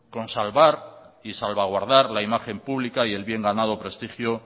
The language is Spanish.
con salvar y salvaguardar la imagen pública y el bien ganado prestigio